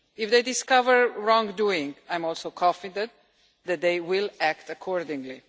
If they discover wrongdoing, I'm also confident that they will act accordingly.